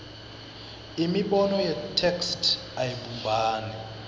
imibono yetheksthi ayibumbani